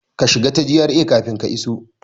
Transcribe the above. Ka shiga ta GRA kafin ka iso!